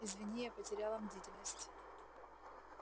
извини я потеряла бдительность